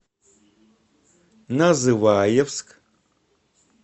называевск